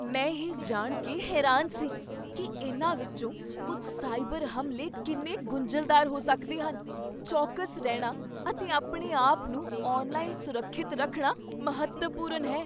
ਮੈਂ ਇਹ ਜਾਣ ਕੇ ਹੈਰਾਨ ਸੀ ਕੀ ਇਨ੍ਹਾਂ ਵਿੱਚੋਂ ਕੁੱਝ ਸਾਈਬਰ ਹਮਲੇ ਕਿੰਨੇ ਗੁੰਝਲਦਾਰ ਹੋ ਸਕਦੇ ਹਨ। ਚੌਕਸ ਰਹਿਣਾ ਅਤੇ ਆਪਣੇ ਆਪ ਨੂੰ ਆਨਲਾਈਨ ਸੁਰੱਖਿਅਤ ਰੱਖਣਾ ਮਹੱਤਵਪੂਰਨ ਹੈ।